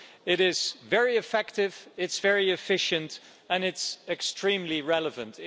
It is very effective, it's very efficient, and it's extremely relevant.